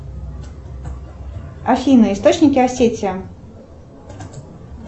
афина источники осетия